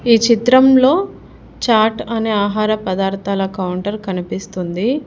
ఈ చిత్రంలో చాట్ అనే ఆహార పదార్థాల కౌంటర్ కనిపిస్తుంది.